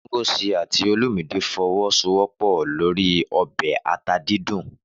Ngozi àti Olumide fọwọ́sowọ́pọ̀ lórí ọbẹ̀ ata dídùn.